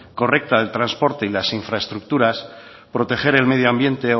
correcta del transporte y las infraestructuras proteger el medioambiente